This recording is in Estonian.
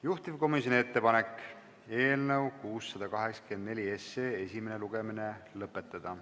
Juhtivkomisjoni ettepanek on eelnõu 684 esimene lugemine lõpetada.